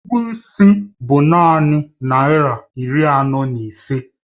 Ụgwọ is bụ naanị naira iri anọ na ise